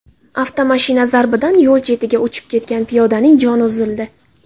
Avtomashina zarbidan yo‘l chetiga uchib ketgan piyodaning joni uzildi.